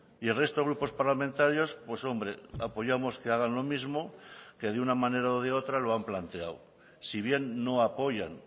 y el resto grupos parlamentarios pues hombre apoyamos que hagan lo mismo que de una manera o de otra lo han planteado si bien no apoyan